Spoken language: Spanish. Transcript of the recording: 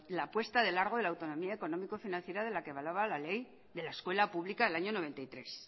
la apuesta de largo de la autonomía económico financiera de la que avalaba la ley de la escuela pública del año noventa y tres